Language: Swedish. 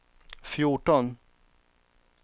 fjorton